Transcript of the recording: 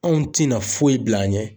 Anw ti na foyi bila a ɲɛ.